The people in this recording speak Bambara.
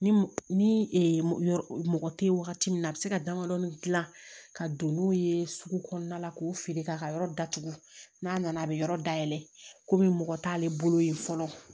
Ni ni mɔgɔ tɛ wagati min na a bɛ se ka damadɔnin dilan ka don n'o ye sugu kɔnɔna la k'o feere k'a ka yɔrɔ datugu n'a nana a bɛ yɔrɔ dayɛlɛ komi mɔgɔ t'ale bolo yen fɔlɔ